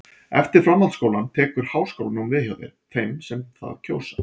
eftir framhaldsskólann tekur háskólanám við hjá þeim sem það kjósa